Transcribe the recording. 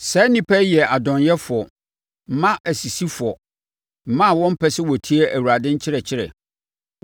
Saa nnipa yi yɛ adɔnyɛfoɔ, mma asisifoɔ, mma a wɔmpɛ sɛ wɔtie Awurade nkyerɛkyerɛ.